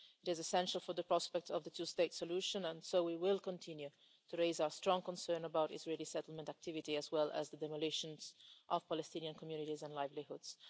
It is essential for the prospect of the two state solution, and so we will continue to raise our strong concerns about Israeli settlement activity, as well as the demolition of Palestinian communities and livelihoods.